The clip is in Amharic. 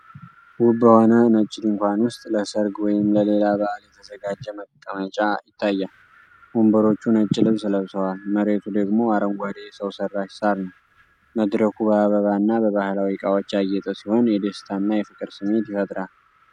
ውብ በሆነ ነጭ ድንኳን ውስጥ ለሠርግ ወይም ለሌላ በዓል የተዘጋጀ መቀመጫ ይታያል። ወንበሮቹ ነጭ ልብስ ለብሰዋል፤ መሬቱ ደግሞ አረንጓዴ ሰው ሠራሽ ሳር ነው። መድረኩ በአበባ እና በባህላዊ እቃዎች ያጌጠ ሲሆን፣ የደስታና የፍቅር ስሜት ይፈጥራል።